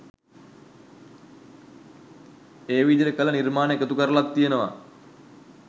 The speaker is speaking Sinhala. ඒ විදියට කළ නිර්මාණ එකතු කරලත් තියෙනවා.